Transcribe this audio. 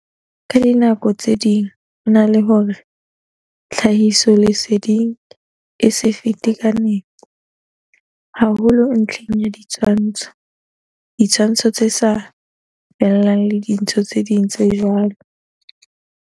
Ka dinako tse ding hona le hore tlha hisoleseding e se fete ka nepo, haholo ntlheng ya di tshwantsho, ditshwantsho tse sa fellang le dintho tse ding tse jwalo.